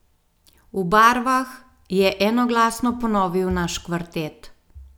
V barvah, je enoglasno ponovil naš kvartet?